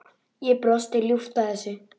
Ég brosi ljúft að þessu.